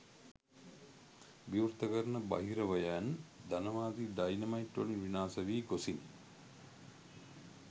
විවෘත කරන බහිරවයන් ධනවාදී ඩයිනමයිට් වලින් විනාශ වී ගොසිනි